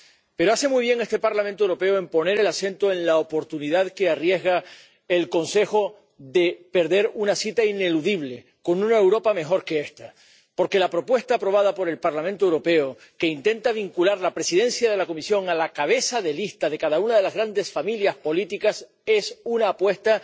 Pero hace muy bien este Parlamento Europeo en poner el acento en la oportunidad que el Consejo se arriesga a perder al dejar pasar una cita ineludible con una Europa mejor que esta, porque la propuesta aprobada por el Parlamento Europeo que intenta vincular la presidencia de la Comisión a la cabeza de lista de cada una de las grandes familias políticas es una apuesta